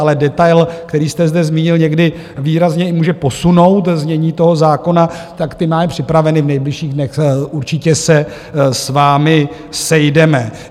Ale detail, který jste zde zmínil, někdy výrazně i může posunout znění toho zákona, tak ty máme připraveny, v nejbližších dnech určitě se s vámi sejdeme.